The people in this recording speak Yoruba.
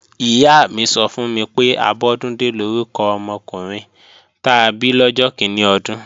Ìyá mi sọ fún mi pé, Abọ́dúndé lórúkọ ọmọkùnrin ta bí lọ́jọ́ kíní ọdún